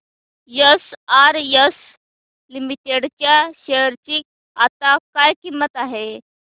SRS limited च्या share ची आता काय किंमत आहे